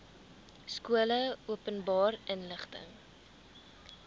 skole openbare inligting